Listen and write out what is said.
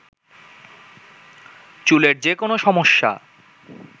চুলের যে কোনো সমস্যা